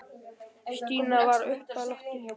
Stína var uppi á lofti.